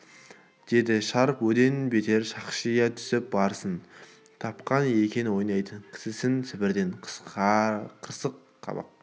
деді шәріп одан бетер шақшия түсіп барсын тапқан екен ойнайтын кісісін сібірден қырыс қабақ